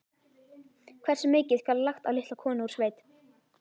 Hversu mikið skal lagt á litla konu úr sveit?